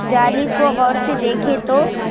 علی کو غور سے دیکھیے تو.